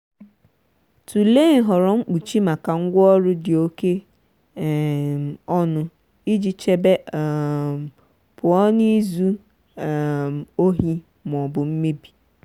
tụlee nhọrọ mkpuchi maka ngwaọrụ dị oke um ọnụ iji chebe um pụọ na izu um ohi ma ọ bụ mmebi.